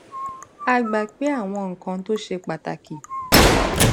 a gbà pé àwọn nǹkan tó ṣe pàtàkì